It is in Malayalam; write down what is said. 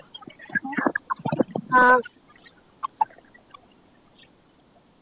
ആഹ്